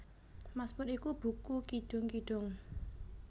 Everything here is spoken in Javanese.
Masmur iku buku kidung kidung